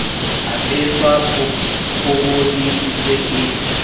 apeswa pobodi e se e